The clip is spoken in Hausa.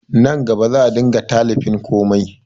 Nan gaba za a dinga talifin komai